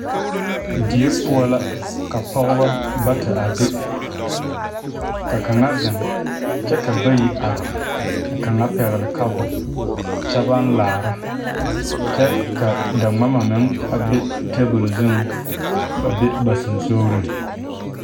Die poɔ la ka pɔgeba bata a be ka kaŋa zeŋ kyɛ ka bayi are ka kaŋa pɛgle kapu kyɛ baŋ laara kyɛ ka daŋmama meŋ a be tabole zuŋ ba be ba sensogreŋ.